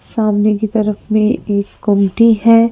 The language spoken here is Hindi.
सामने की तरफ मे एक गोमटी है।